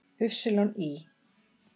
Ý